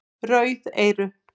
Rauð eyru